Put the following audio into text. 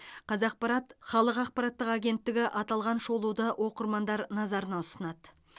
қазақпарат халық ақпараттық агенттігі аталған шолуды оқырмандар назарына ұсынады